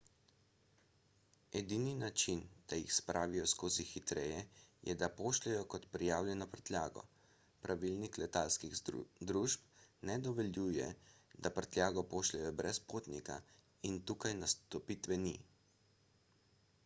edini način da jih spravijo skozi hitreje je da jih pošljejo kot prijavljeno prtljago pravilniki letalskih družb ne dovoljujejo da prtljago pošljejo brez potnika in tukaj nastopite vi